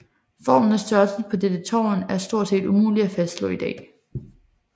Formen og størrelsen på dette tårn er stort set umulig at fastslå i dag